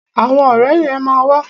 Àwọn ọ̀rẹ́ yẹn ma wà.